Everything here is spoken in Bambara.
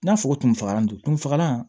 N'a fɔ tun fagalan don fagalan